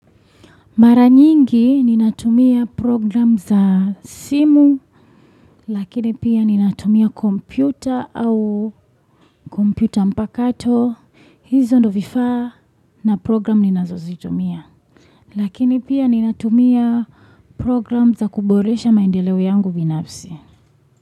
Mara nyingi ninatumia program za simu, lakini pia ninatumia kompyuta au kompyuta mpakato, hizo ndio vifaa na program ninazozitumia. Lakini pia ninatumia program za kuboresha maendeleo yangu binafsi.